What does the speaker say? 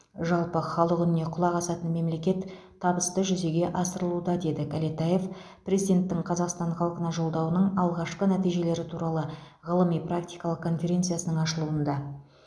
жалпы халық үніне құлақ асатын мемлекет табысты жүзеге асырылуда деді кәлетаев президенттің қазақстан халқына жолдауының алғашқы нәтижелері туралы ғылыми практикалық конференцияның ашылуында